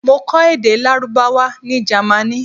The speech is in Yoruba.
Mo kó èdè Lárúbáwá ní Jẹ́mánì.